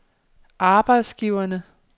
arbejdsgiverne